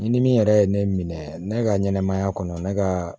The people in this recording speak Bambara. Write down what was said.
Ni min yɛrɛ ye ne minɛ ne ka ɲɛnɛmaya kɔnɔ ne kaaa